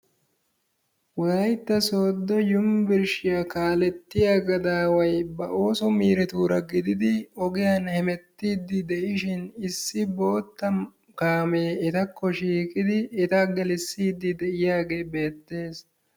Wolaytta soodo yunburshshiyaa kaalettiyaa gadaaway ba oosso miireturaa gididi ogiyan hemettidi de'ishin issi boottaa kaamee etakko shiiqidi eta gelissiiddi de'iyage beetees.